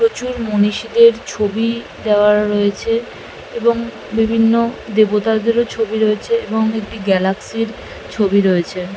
প্রচুর মনীষীদের ছবি দেয়া রয়েছে এবং বিভিন্ন দেবতাদেরও ছবি রয়েছে এবং একটি গ্যালাক্সি -এর ছবি রয়েছে।